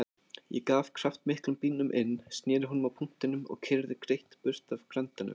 Ég gaf kraftmiklum bílnum inn, sneri honum á punktinum og keyrði greitt burt af Grandanum.